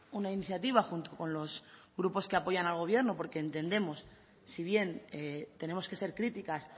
una iniciativa junto con los grupos que apoyan al gobierno porque entendemos si bien tenemos que ser críticas